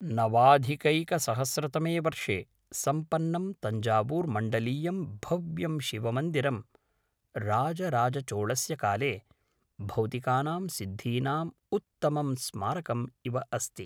नवाधिकैकसहस्रतमे वर्षे सम्पन्नं तञ्जावूर्मण्डलीयं भव्यं शिवमन्दिरं राजराजचोळस्य काले भौतिकानां सिद्धीनाम् उत्तमं स्मारकम् इव अस्ति।